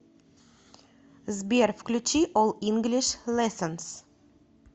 сбер включи ол инглиш лессонз